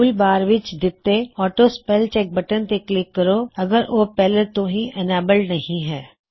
tool bar ਵਿੱਚ ਦਿੱਤੇ auto spell check button ਤੇ ਕਲਿੱਕ ਕਰੋ ਅਗੱਰ ੳਹ ਪਹਿਲੋ ਤੋ ਹੀ ਇਨੇਬੱਲਡ ਨਹੀ ਹੈ